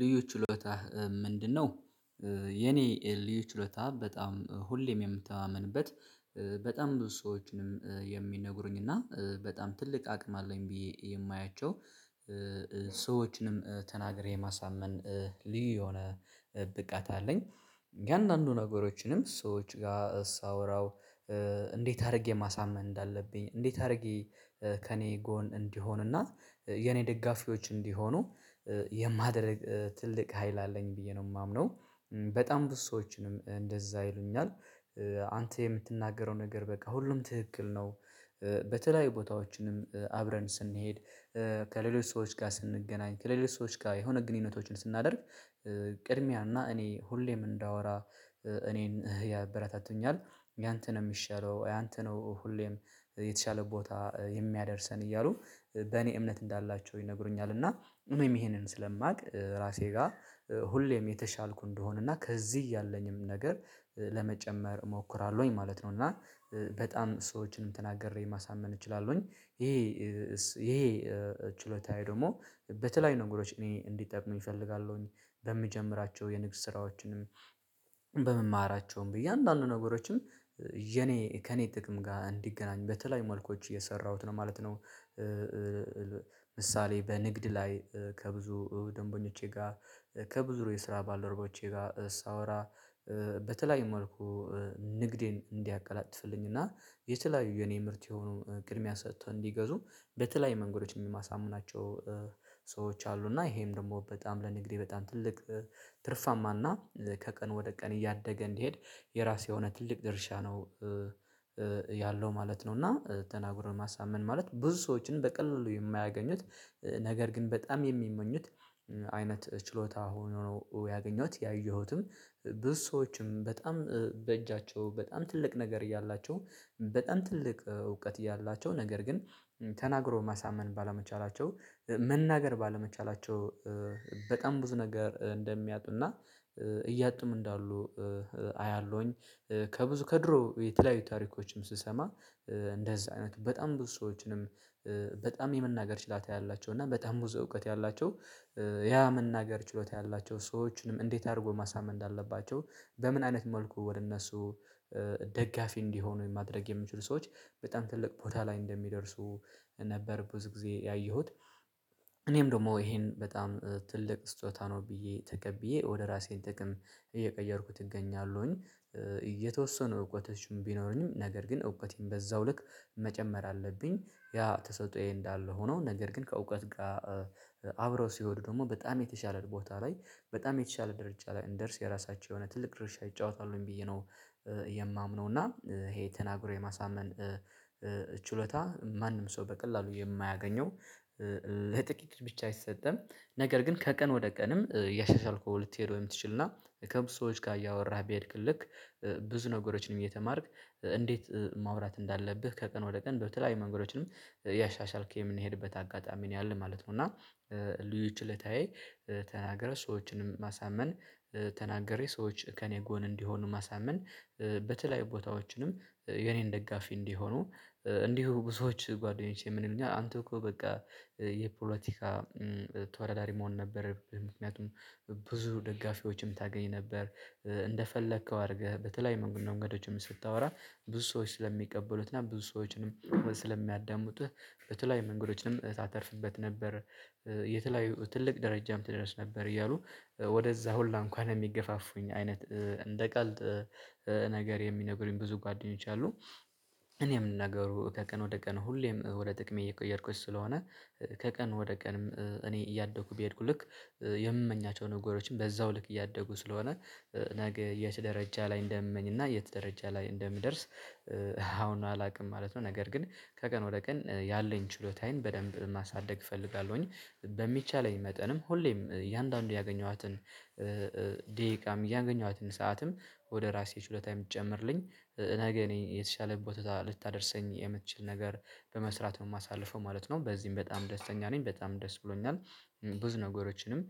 ልዩ ችሎታህ ምንድነው? የኔ ልዩ ችሎታ በጣም ሁሌም የምተማመንበት በጣም ብዙ ሰዎችንም የሚነግሩኝ እና በጣም ትልቅ አቅም አለኝ ብዬ የማያቸው ሰዎችንም ተናግሬ የማሳመን ልዩ የሆነ ብቃት አለኝ የእያንዳንዱ ነገሮችንም ሰዎች ጋር ሳወራው እንዴት አድርጌ ማሳመን እንዳለብኝ እንዴት አድርጌ ከእኔ ጎን እንዲሆንና የኔ ደጋፊዎች እንዲሆኑ የማድርግ ትልቅ ሀይል አለኝ ብዬ ነው የማምነው በጣም ብዙ ሰዎችንም እንደዛ ይሉኛል አንተ የምትናገረው ነገር በቃ ሁሉም ትክክል ነው በተለያዩ ቦታዎችንም አብረን ስንሄድ ከሌሎች ሰዎች ጋር ስንገናኝ ከሌሎች ሰዎች ጋር የሆነ ግንኙነቶችን ስናደርግ ቅድሚያና እኔ ሁሌም እንዳወራ እኔን ያበረታቱኛል ያንተ ነው የሚሻለው ያንተ ነው ሁሌም የተሻለ ቦታ የሚያደርሰን እያሉ በኔ እምነት እንዳላቸው ይነግሩኛል እኔም ይሄንን ስለማውቅ ራሴ ጋር ሁሌም የተሻልኩ እንደሆነ እና ከዚህ ያለኝም ነገር ለመጨመር እሞክራለሁኝ ማለት ነው እና በጣም ሰዎችን ተናግሬ ማሳመን እችላለሁኝ ይሄ ይሄ ችሎታዬ ደግሞ በተለያዩ ነገሮች እንዲጠቅመኝ እፈልጋለሁኝ በምጀምራቸው የንግድ ስራዎችንም በምማራቸውም በእያንዳንዱ የኔ ከኔ ጥቅም ጋር እንዲገናኝ በተለይ መልኮች እየሰራሁት ነው ማለት ነው ምሳሌ በንግድ ላይ ከብዙ ደንበኞቼ ጋር ከብዙ የስራ ባልደረባዎቼ ጋር ሳወራ በተለያዩ መልኩ ንግዴን እንዲያቀላጥፍልኝ እና የተለያዩ የኔ ምርት የሆነውን ቅድሚያ ሰጥተው እንዲገዙ በተለይ መንገዶች የማሳምናቸው ሰዎች አሉ እና ይሄም ደግሞ በጣም ለንግዴ በጣም ትልቅ ትርፋማና ከቀን ወደ ቀን እያደገ እንድሄድ የራሴ የሆነ ትልቅ ድርሻ ነው ያለው ማለት ነው እና ተናግሮ ማሳመን ማለት ብዙ ሰዎችን በቀላሉ የማያገኙት ነገር ግን በጣም የሚመኙት አይነት ችሎታ ሆኖ ነው ያገኘሁት ያየሁትም ብዙ ሰዎችም በጣም በእጃቸው በጣም ትልቅ ነገር እያላቸው በጣም ትልቅ እውቀት እያላቸው ነገር ግን ተናግሮ ማሳመን ባለመቻላቸው መናገር ባለመቻላቸው በጣም ብዙ ነገር እንደሚያጡና እያጡም እንዳሉ አያለሁኝ ከብዙ ከድሮ የተለያዩ ታሪኮችም ስሰማ እንደዛ አይነቱ በጣም ብዙ ሰዎችንም በጣም የመናገር ችላታ ያላቸው እና በጣም ብዙ እውቀት ያላቸው ያ መናገር ችሎታ ያላቸው ሰዎችንም እንዴት አድርጎ ማሳመን እንዳለባቸው በምን አይነት መልኩ ወደ እነሱ ደጋፊ እንዲሆኑ የማድረግ የሚችሉ ሰዎች በጣም ትልቅ ቦታ ላይ እንደሚደርሱ ነበር ብዙ ጊዜ ያየሁት እኔም ደግሞ ይሄን በጣም ትልቅ ስጦታ ነው ብዬ ተቀብዬ ወደ ራሴ ጥቅም እየቀየርኩት እገኛለሁኝ እየተወሰኑ እውቀቶችም ቢኖሩኝም ነገር ግን እውቀቴን በዛው ልክ መጨመር አለብኝ ያ ተሰጥኦዬ እንዳለ ሆኖ ነገር ግን ከእውቀት ጋር አብረው ሲሆኑ ደግሞ በጣም የተሻለ ቦታ ላይ በጣም የተሻለ ደረጃ ላይ እንደርስ የራሳቸው የሆነ ትልቅ ድርሻ ይጫወታሉኝ ብዬ ነው የማምነው እና ይሄ ተናግሮ የማሳመን ችሎታ ማንም ሰው በቀላሉ የማያገኘው ለጥቂት ብቻ አይሰጠም ነገር ግን ከቀን ወደ ቀንም እያሻሻልከው ልትሄደው የምትችልና ከብዙ ሰዎች ጋር እያወራህ ቢሄድክ ልክ ብዙ ነገሮችንም እየተማርክ እንዴት ማውራት እንዳለብህ ከቀን ወደ ቀን በተለያዩ መንገዶችንም ያሻሻልክ የምንሄድበት አጋጣሚ ነው ያለን ማለት ነው እና ልዩ ችለታዬ ተናግረህ ሰዎችንም ማሳመን ተናግሬ ሰዎች ከእኔ ጎን እንዲሆኑ ማሳመን በተለያዩ ቦታዎችንም የኔን ደጋፊ እንዲህ ሆኖ እንዲሁ ብዙዎች ጓደኞቼ ምን ይሉኛል አንተ እኮ በቃ የፖለቲካ ተወዳዳሪ መሆን ነበረብህ ምክንያቱም ብዙ ደጋፊዎችን ታገኝ ነበር እንደፈለከው አድርገህ በተለይ መንገዶችም ስታወራ ብዙ ሰዎች ስለሚቀበሉት እና ብዙ ሰዎችንም ስለሚያዳምጡህ በተለይ መንገዶችንም ታተርፍበት ነበረ የተለያዩ ትልቅ ደረጃም ትደረስ ነበር እያሉ ወደዛ ሁላ እንኳን የሚገፋፉኝ አይነት እንደ ቀልድ ነገር የሚነግሩኝ ብዙ ጓደኞች አሉ እኔ የምናገሩ ከቀን ወደ ቀን ሁሌም ወደ ጥቅም እየቀየርኩኝ ስለሆነ ከቀን ወደ ቀንም እኔ እያደጉ ቢሄድኩ ልክ የምመኛቸው ነገሮችን በዛው ልክ እያደጉ ስለሆነ ነገ የት ደረጃ ላይ እንደምመኝ እና የት ደረጃ ላይ እንደምደርስ አሁን አላውቅም ማለት ነው ነገር ግን ከቀን ወደ ቀን ያለኝ ችሎታዬን በደንብ ማሳደግ እፈልጋለሁኝ በሚቻለኝ መጠንም ሁሌም እያንዳንዱ ያገኘኋትን ደቂቃም እያገኘኋትን ሰዓትም ወደ ራሴ ሽልታ የምትጨምርልኝ ነገ እኔ የተሻለ ቦታ ልታደርሰኝ የምትችል ነገር በመስራት ነው የማሳልፈው ማለት ነው በዚህም በጣም ደስተኛ ነኝ በጣም ደስ ብሎኛል ብዙ ነገሮችንም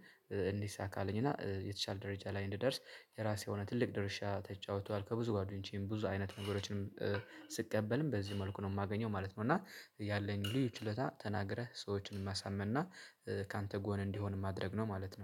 እንዲሳካልኝ እና የተሻለ ደረጃ ላይ እንድደርስ የራሴ የሆነ ትልቅ ድርሻ ተጫውቷል ከብዙ ጓደኞቼም ብዙ አይነት ነገሮችንም ስቀበልም በዚህ መልኩ ነው የማገኘው ማለት ነው እና ያለኝ ልዩ ችሎታ ተናግረህ ሰዎችን የማሳምንና ካንተ ጎን እንዲሆን ማድረግ ነው ማለት ነው